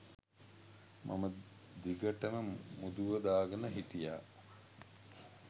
මම දිගටම මුදුව දාගෙන හිටියා.